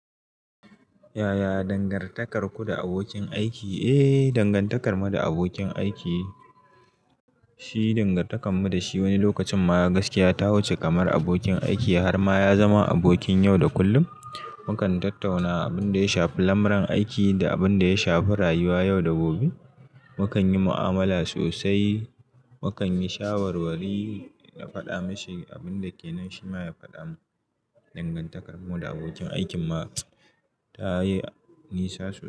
Yaya dangantakarku da abokin aiki? Eh, dangantakarmu da abokin aiki shi dangantakarmu da shi wani lokacin ma gaskiya ta wuce kamar abokin aiki har ma ya zama abokin yau da kullum. Mu kan tattauna abin da ya shafi lamuran aiki da abin da ya shafi rayuwa yau da gobe. Mu kan yi mu'amala sosai, mu kan yi shawarwari, na faɗa mashi abin da ke nan shi ma ya faɗa min. Dangantakarmu da abokin aikin ma ta yi nisa sosai.